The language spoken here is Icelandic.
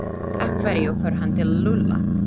Af hverju fór hann til Lúlla?